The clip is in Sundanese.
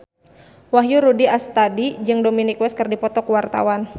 Wahyu Rudi Astadi jeung Dominic West keur dipoto ku wartawan